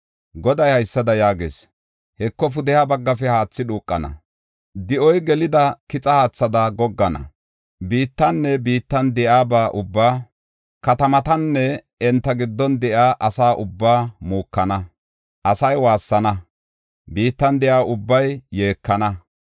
Goday haysada yaagees; “Heko, pudeha baggafe haathi dhuuqana; di7oy gelida kixa haathada goggana. Biittanne biittan de7iyaba ubbaa, katamatanne enta giddon de7iya asa ubbaa muukana. Asay waassana; biittan de7iya ubbay yeekana.